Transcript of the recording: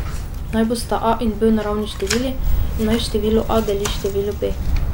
Naj bosta a in b naravni števili in naj število a deli število b.